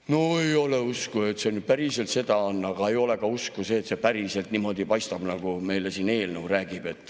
No ei ole mul usku, et see nüüd päriselt sedasi on, aga ei ole ka usku, et see päriselt niimoodi on, nagu eelnõu meile siin räägib.